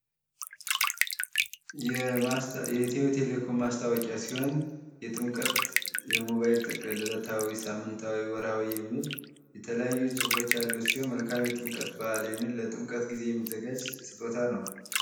የኢትዮ ቴሌኮም ማስታወቂያ ሲሆን የጥምቀት የሞባይል ጥቅል እለታዊ ፣ሳምንታዊ፣ ወርሃዊ የሚል የተለያዩ ጽሁፎች ያለው ሲሆን መልካም የጥምቀት በዓል የሚዘጋጅ ስጦታ ነው።